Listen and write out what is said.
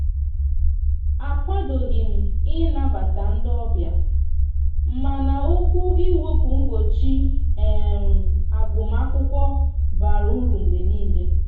a kwadoghim ị nabata ndi ọbia mana okwu iwepu mgbọchi agụm akwụkwo bara ụrụ mgbe nile.